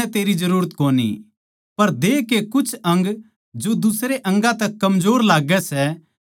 पर देह के कुछ अंग जो दुसरे अंगा तै कमजोर लाग्गै सै भोतए जरूरी सै